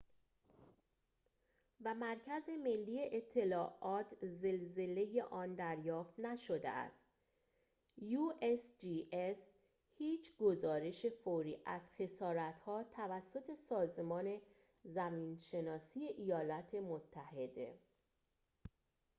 هیچ گزارش فوری از خسارت‌ها توسط سازمان زمین‌شناسی ایالات متحده usgs و مرکز ملی اطلاعات زلزله آن دریافت نشده است